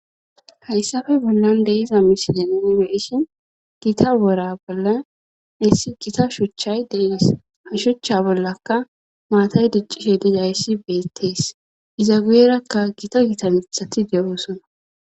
hayssafe bollon de'iza misileni beishin gita wora bolla issi gita shuchchay deees ha shuchcha bollaka maatay diccishe dizayssi beettees iza guyerakka gita gitanithati de7oosona